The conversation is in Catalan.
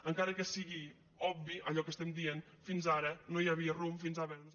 encara que sigui obvi allò que estem dient fins ara no hi havia rumb fins ara